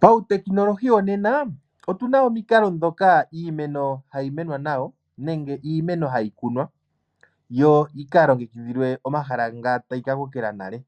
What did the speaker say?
Pautekinolohi wonena otuna omikalo ndhoka iimeno hayi menwa nayo nenge iimeno hayi kunwa yo yi ka longekidhilwe omahala nga tayi ka kokela nale.